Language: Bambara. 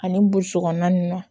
Ani boso kɔnɔna nun na